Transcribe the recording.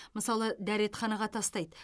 мысалы дәретханаға тастайды